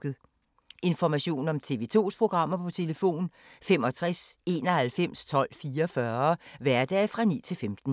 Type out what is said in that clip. Information om TV 2's programmer: 65 91 12 44, hverdage 9-15.